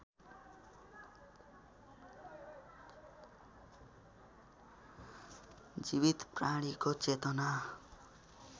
जीवित प्राणीको चेतना